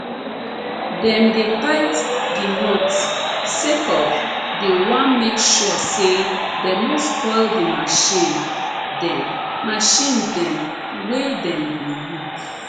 dem dey tight d nots sake of dey wan make sure say dem no spoil de marchin dem marchin dem wey dem go use